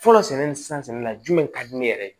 Fɔlɔ sɛnɛni ni san sɛnɛna jumɛn ka di ne yɛrɛ ye